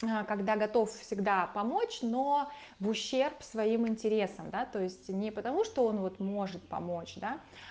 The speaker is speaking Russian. когда готов всегда помочь но в ущерб своим интересам да то есть не потому что он вот может помочь да